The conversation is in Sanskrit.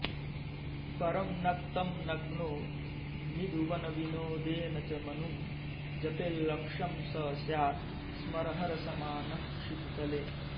परं नक्तं नग्नो निधुवनविनोदेन च मनुं जपेल्लक्षं स स्यात् स्मरहरसमानः क्षितितले